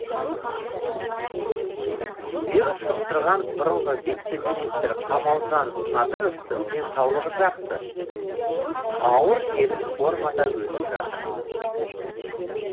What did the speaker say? вирус жұқтырған бұрынғы вице министр қамалжан надыровтың денсаулығы жақсы ауру жеңіл формада өтіп жатыр